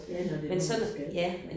Ja når det er noget man skal